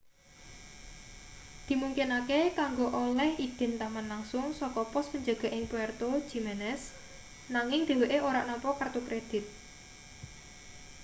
dimungkinake kanggo oleh idin taman langsung saka pos penjaga ing puerto jiménez nanging dheweke ora nampa kertu kredit